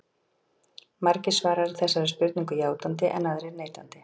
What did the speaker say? Margir svara þessari spurningu játandi en aðrir neitandi.